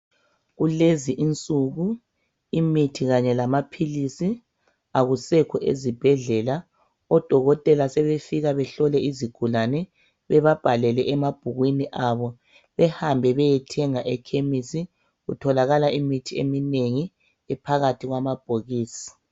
Kulezi insuku imithi kanye lamaphilisi akusekho ezibhedlela. Odokotela sebefika behlole izigulane bebabhalele emabhukwini abo behambe beyethenga ekhemisi ,kutholakala imithi eminengi ephakathi kwamabhokisi.